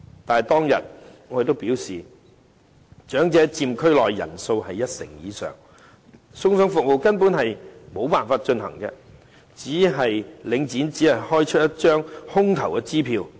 但是，當天我表示長者佔區內人數一成以上，送餸服務根本沒有辦法進行，領展只是開出一張空頭支票。